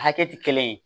Hakɛ tɛ kelen ye